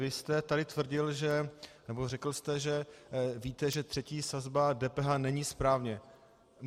Vy jste tady tvrdil, nebo řekl jste, že víte, že třetí sazba DPH není správně.